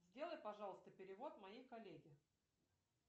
сделай пожалуйста перевод моей коллеге